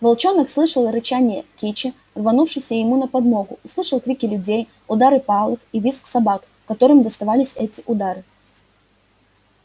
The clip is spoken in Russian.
волчонок слышал рычание кичи рванувшейся ему на подмогу слышал крики людей удары палок и визг собак которым доставались эти удары